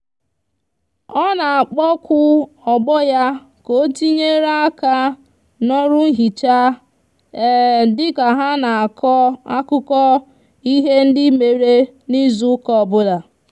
o n'akpoku ogbo ya ka otinyere aka n'oru nhicha dika ha n'ako akuko ihe ndi mere n'izu uka obula